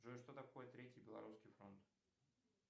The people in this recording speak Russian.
джой что такое третий белорусский фронт